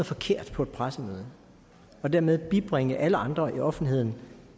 forkert på et pressemøde og dermed bibringer alle andre i offentligheden